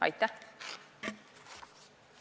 Aitäh!